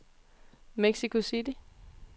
Mexico City